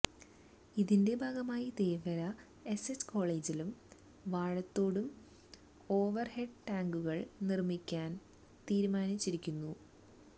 ഇതിന്റെ ഭാഗമായി തേവര എസ്എച്ച് കോളേജിലും വാഴത്തോടും ഓവര്ഹെഡ് ടാങ്കുകള് നിര്മിക്കാന് തീരുമാനിച്ചിരുന്നു